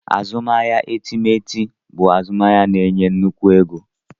Azụmahịa etemeete bụ azụmahịa na-enye nnukwu ego.